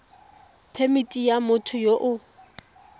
phemithi ya motho yo o